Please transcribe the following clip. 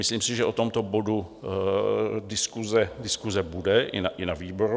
Myslím si, že o tomto bodu diskuse bude i na výboru.